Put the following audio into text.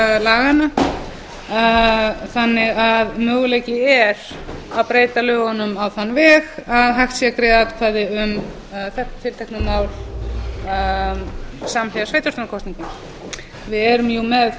laganna þannig að möguleiki er að breyta lögunum á þann veg að hægt sé að greiða atkvæði um þetta tiltekna mál samhliða sveitarstjórnarkosningum við erum